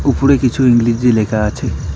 উপরে কিছু ইংরেজি লেখা আছে।